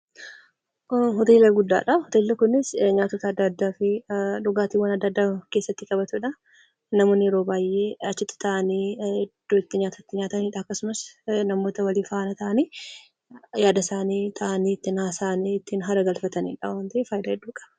Kun hoteela guddaadha. Hoteelli kunis nyaatota adda addaa fi dhugaatiiwwan adda addaa of keessaatti qabatudha. Namoonni yeroo baay'ee achitti taa'anii iddoo itti nyaata nyaatan ta'a akkasumas namootaa walii faana ta'anii yada isaanii taa'anii ittiin haasa'anii itti hara galfatanidha.